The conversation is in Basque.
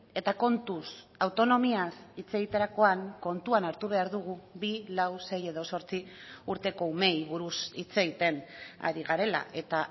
eta kontuz autonomiaz hitz egiterakoan kontuan hartu behar dugu bi lau sei edo zortzi urteko umeei buruz hitz egiten ari garela eta